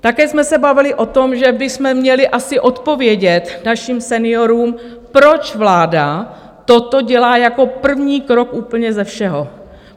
Také jsme se bavili o tom, že bychom měli asi odpovědět našim seniorům, proč vláda toto dělá jako první krok úplně ze všeho.